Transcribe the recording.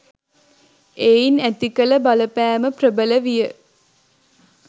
එයින් ඇති කළ බලපෑම ප්‍රබල විය